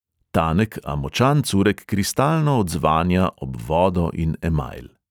Tanek, a močan curek kristalno odzvanja ob vodo in emajl.